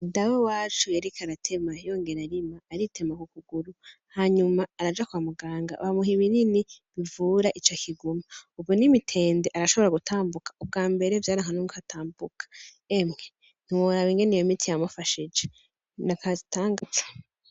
Dawe wacu yariko aratema yongera arima, aritema kukuguru, hanyuma araja kwa muganga bamuha ibinini bivura ico kiguma. Ubu n'imitende arashobora gutambuka, ubwa mbere vyaranka nuko atambuka. Emye, ntiworaba ingene iyo miti yamufashije n'agatangaza.